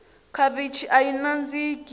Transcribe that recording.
khavichi ayi nandziki